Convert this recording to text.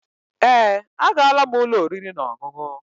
Èé, agaala m ụlọ oriri na ọṅụṅụ.